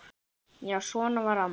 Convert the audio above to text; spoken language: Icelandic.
Já, svona var amma.